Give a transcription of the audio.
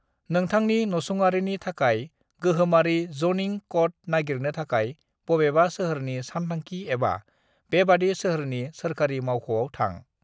"नोंथांनि नसुंआरिनि थाखाय गोहोमारि ज'निंग क'ड नागिरनो थाखाय, बबेबा सोहोरनि सानथांखि एबा बेबादि सोहोरनि सोरखारि मावख'आव थां।"